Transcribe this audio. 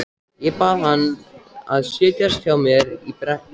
Ég bað hann að setjast hjá mér á bekkinn.